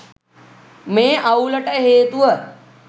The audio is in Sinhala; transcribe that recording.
මේ අවුලට හේතුව